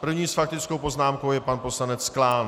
První s faktickou poznámkou je pan poslanec Klán.